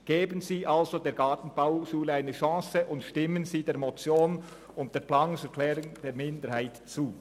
Geben Sie somit der Gartenbauschule eine Chance, und stimmen Sie der Motion und der Planungserklärung der FiKoMinderheit zu.